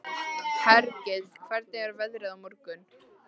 Hergill, hvernig er veðrið á morgun?